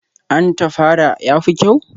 An tafara, ya fi kyau?